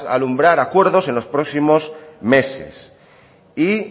alumbrar acuerdos en los próximos meses y